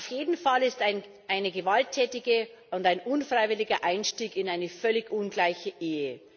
Auf jeden Fall ist es ein gewalttätiger und unfreiwilliger Einstieg in eine völlig ungleiche Ehe.